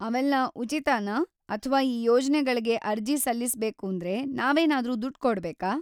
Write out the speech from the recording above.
ಅವೆಲ್ಲ ಉಚಿತನಾ ಅಥ್ವಾ ಈ ಯೋಜ್ನೆಗಳ್ಗೆ ಅರ್ಜಿ ಸಲ್ಲಿಸ್ಬೇಕೂಂದ್ರೆ ನಾವೇನಾದ್ರೂ ದುಡ್ಡ್‌ ಕೊಡ್ಬೇಕಾ?